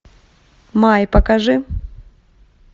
май покажи